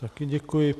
Taky děkuji.